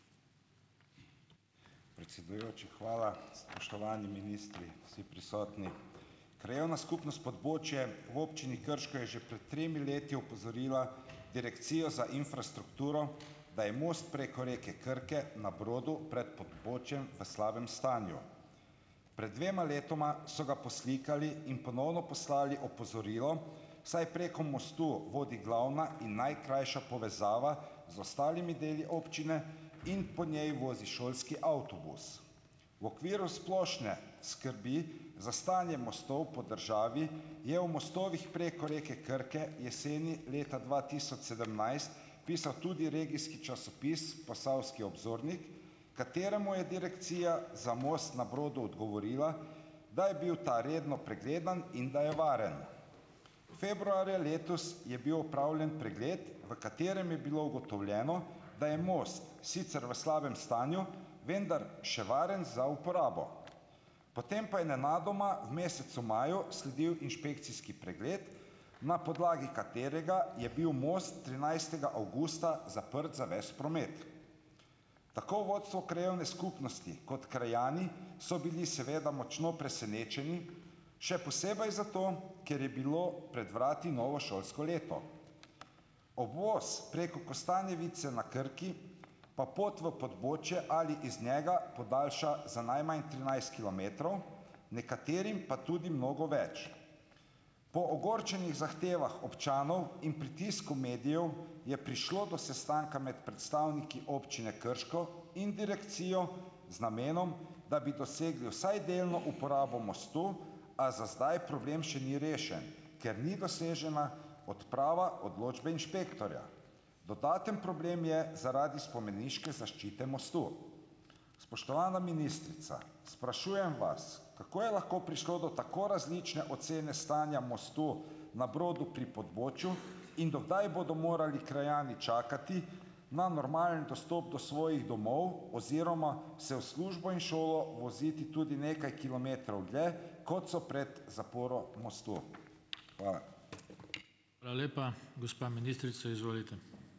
Predsedujoči, hvala. Spoštovani ministri, vsi prisotni! Krajevna skupnost Podbočje v občini Krško je že pred tremi leti opozorila Direkcijo za infrastrukturo, da je most preko reke Krke na Brodu pred Podbočjem v slabem stanju. Pred dvema letoma so ga poslikali in ponovno poslali opozorilo, saj preko mostu vodi glavna in najkrajša povezava z ostalimi deli občine in po njej vozi šolski avtobus. V okviru splošne skrbi za stanje mostov po državi je o mostovih preko reke Krke jeseni leta dva tisoč sedemnajst pisal tudi regijski časopis Posavski obzornik, kateremu je direkcija za most na Brodu odgovorila, da je bil ta redno pregledan in da je varen. Februarja letos je bil opravljen pregled, v katerem je bilo ugotovljeno, da je most sicer v slabem stanju, vendar še varen za uporabo. Potem pa je nenadoma v mesecu maju sledil inšpekcijski pregled, na podlagi katerega je bil most trinajstega avgusta zaprt za ves promet. Tako vodstvo krajevne skupnosti kot krajani so bili seveda močno presenečeni, še posebej zato, ker je bilo pred vrati novo šolsko leto. Obvoz preko Kostanjevice na Krki pa pot v Podbočje ali iz njega podaljša za najmanj trinajst kilometrov, nekaterim pa tudi mnogo več. Po ogorčenih zahtevah občanov in pritisku medijev je prišlo do sestanka med predstavniki občine krško in Direkcijo z namenom, da bi dosegli vsaj delno uporabo mostu, a za zdaj problem še ni rešen, ker ni dosežena odprava odločbe inšpektorja. Dodaten problem je zaradi spomeniške zaščite mostu. Spoštovana ministrica, sprašujem vas, kako je lahko prišlo do tako različne ocene stanja mostu na Brodu pri Podbočju in do kdaj bodo morali krajani čakati na normalen dostop do svojih domov oziroma se v službo in šolo voziti tudi nekaj kilometrov dlje, kot so pred zaporo mostu. Hvala.